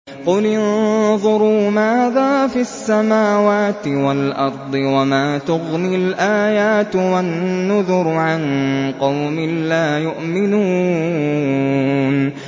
قُلِ انظُرُوا مَاذَا فِي السَّمَاوَاتِ وَالْأَرْضِ ۚ وَمَا تُغْنِي الْآيَاتُ وَالنُّذُرُ عَن قَوْمٍ لَّا يُؤْمِنُونَ